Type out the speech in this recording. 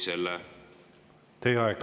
Teie aeg!